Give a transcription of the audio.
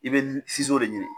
I bɛ de ɲini